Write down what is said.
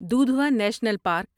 Dudhwa national park